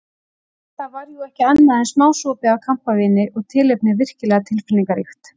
Þetta var jú ekki annað en smásopi af kampavíni og tilefnið virkilega tilfinningaríkt.